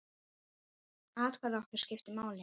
Atkvæði okkar skiptir máli.